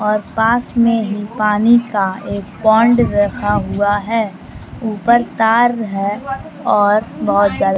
और पास में ही पानी का एक पौंड रखा हुआ है ऊपर तार है और बहुत जल --